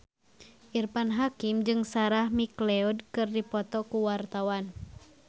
Irfan Hakim jeung Sarah McLeod keur dipoto ku wartawan